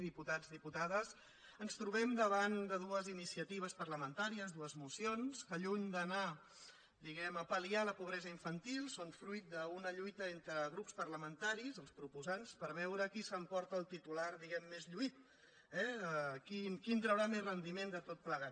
diputats diputades ens trobem da·vant de dues iniciatives parlamentàries dues mocions que lluny d’anar diguem·ne a palfantil són fruit d’una lluita entre grups parlamentaris els proposants per veure qui s’emporta el titular di·guem·ne més lluït eh qui en traurà més rendiment de tot plegat